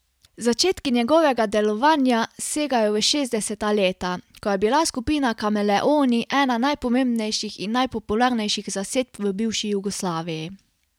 Začetki njegovega delovanja segajo v šestdeseta leta, ko je bila skupina Kameleoni ena najpomembnejših in najpopularnejših zasedb v bivši Jugoslaviji.